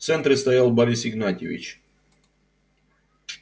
в центре стоял борис игнатьевич